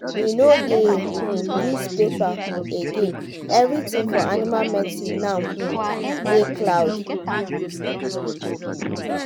we no dey um use paper um again everything for animal medicine now um dey cloud.